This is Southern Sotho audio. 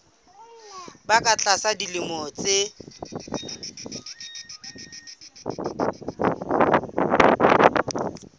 ba ka tlasa dilemo tse